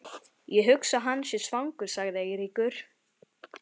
Ég hugsa að hann sé svangur sagði Eiríkur.